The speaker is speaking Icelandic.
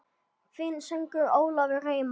Þinn sonur Ólafur Reimar.